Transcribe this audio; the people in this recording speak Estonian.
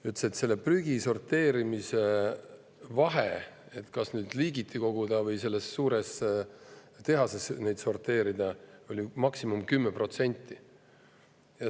Ta ütles, et sellel, kas prügi sorteerimiseks koguti seda liigiti või sorteeriti suures tehases, oli maksimum 10% vahet.